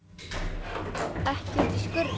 Ekki úti í skurði.